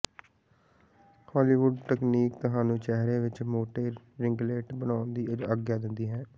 Hollywood ਤਕਨੀਕ ਤੁਹਾਨੂੰ ਚਿਹਰੇ ਵਿੱਚ ਮੋਟੇ ਰਿੰਗਲੈਟ ਬਣਾਉਣ ਦੀ ਆਗਿਆ ਦਿੰਦੀ ਹੈ